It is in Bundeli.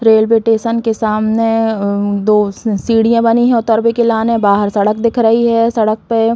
रेलवे टेसन के सामने अ दो सीढ़ियाँ बनी है उतरबे के लाने । बाहर सड़क दिख रही है। सड़क पे --